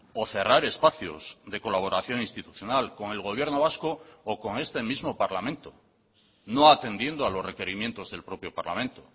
o cerrar espacios de colaboración institucional con el gobierno vasco o con este mismo parlamento no atendiendo a los requerimientos del propio parlamento